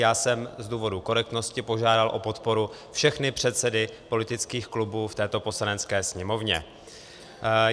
Já jsem z důvodu korektnosti požádal o podporu všechny předsedy politických klubů v této Poslanecké sněmovně.